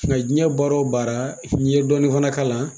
Nga jiɲɛ baara wo baara , n'i ye dɔɔnin fana ka la